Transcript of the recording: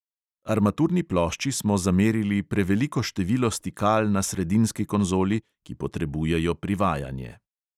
Armaturni plošči smo zamerili preveliko število stikal na sredinski konzoli, ki potrebujejo privajanje.